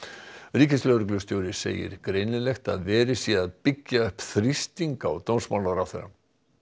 ríkislögreglustjóri segir greinilegt að verið sé að byggja upp þrýsting á dómsmálaráðherra